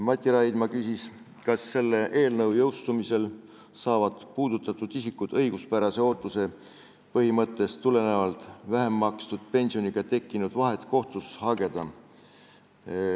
Mati Raidma küsis, kas selle eelnõu jõustumisel saavad puudutatud isikud õiguspärase ootuse põhimõttest tulenevalt vähem makstud pensioni tõttu tekkinud vahe kinnimaksmist kohtus hageda.